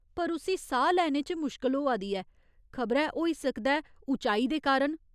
पर उस्सी साह् लैने च मुश्कल होआ दी ऐ, खबरै होई सकदा ऐ उचाई दे कारण ।